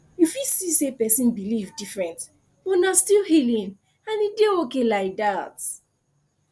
you fit see say person believe different but na still healing and e dey okay like that